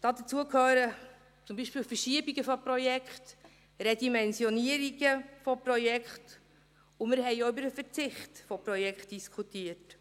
Dazu gehören zum Beispiel Verschiebungen von Projekten, Redimensionierungen von Projekten, und wir diskutierten auch über den Verzicht auf Projekte.